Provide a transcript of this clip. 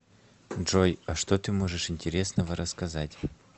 джой а что ты можешь интересного рассказать